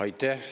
Aitäh!